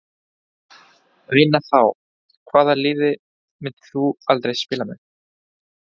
Vinna þá Hvaða liði myndir þú aldrei spila með?